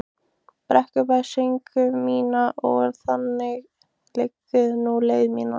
Brekkubæ sögu mína og þangað liggur nú leið mín.